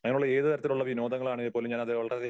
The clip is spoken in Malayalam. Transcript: അങ്ങനെയുള്ള ഏത് തരത്തിലുള്ള വിനോദങ്ങൾ ആണേൽ പോലും ഞാൻ അത് വളരെയധികം